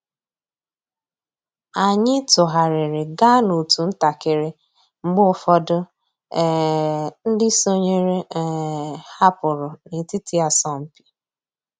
Ányị́ tụ́ghàrị́rị́ gàá n'otu ntakị́rị́ mg̀bé ụ́fọ̀dụ́ um ndị́ sònyééré um hàpụ́rụ́ n'ètìtí àsọ̀mpị́.